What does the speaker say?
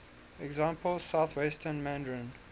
example southwestern mandarin